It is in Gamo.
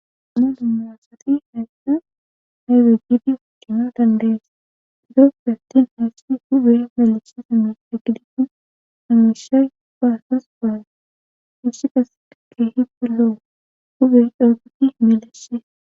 melu muasati heyssa hayfegidi wudino dandees durofi attin heessi hube meleshesami aggiditin hamesha baasas gaa ishiqas keehi pelloo hubey dhooguti meleshe